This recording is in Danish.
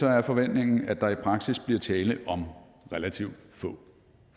er forventningen at der i praksis bliver tale om relativt få